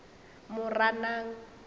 moranang